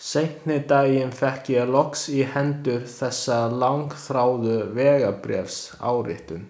Seinni daginn fékk ég loks í hendur þessa langþráðu vegabréfsáritun.